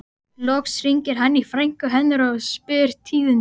Loks hringir hann í frænku hennar og spyr tíðinda.